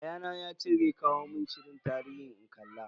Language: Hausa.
Yayana yace zai kawo mun shirin tarihi in kalla.